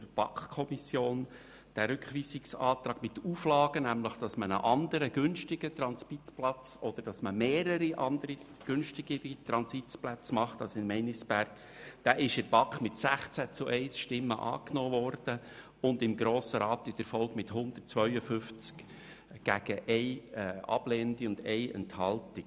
der BaK. Dieser Rückweisungsantrag war mit der Auflage verbunden, einen anderen günstigen Transitplatz oder mehrere günstige Transitplätze zu realisieren und wurde in der BaK mit 16 Stimmen bei 1 Gegenstimme und im Grossen Rat in der Folge mit 172 Stimmen gegen 1 ablehnende und 1 enthaltende Stimme angenommen.